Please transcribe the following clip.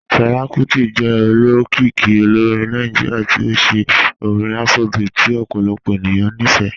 Fẹla Kuti jẹ òlókìíkì òlórìn Nàìjíríà tí ó ṣẹ̀ orin Afrobeat tí ọ̀pọ̀lọpọ̀ ènìyàn ní fẹ́.